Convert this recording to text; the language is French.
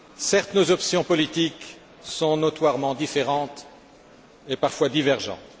Certes, nos options politiques sont notoirement différentes, et parfois divergentes.